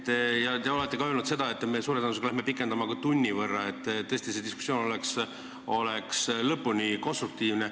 Te olete ka öelnud seda, et suure tõenäosusega me pikendame istungit tunni võrra, et tõesti see diskussioon oleks lõpuni konstruktiivne.